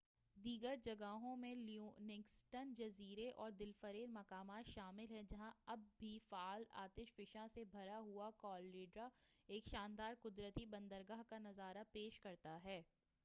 دیگر جگہوں میں لیونگسٹن جزیرے اور دلفریب مقامات شامل ہیں جہاں اب بھی فعال آتش فشاں سے بھرا ہوا کالڈیرا ایک شاندار قدرتی بندرگاہ کا نظارہ پیش کرتا ہے